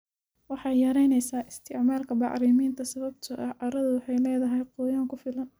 Waxay yaraynaysaa isticmaalka bacriminta sababtoo ah carradu waxay leedahay qoyaan ku filan.